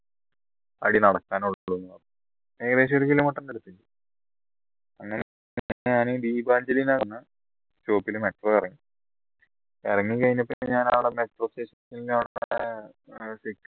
അടി നടക്കാനേ ഉള്ളൂ ഏകദേശം ഒരു kilometer ന്റെ അടുത്ത് അങ്ങനെ ഞാൻ ദീപാഞ്ജലിന് നടന്ന ഇറങ്ങി ഇറങ്ങിക്കഴിഞ്ഞപ്പോ പിന്നെ ഞാൻ